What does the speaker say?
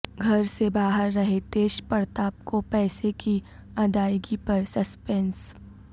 گھر سے باہر رہے تیج پڑتاپ کو پیسے کی ادائیگی پر سسپنس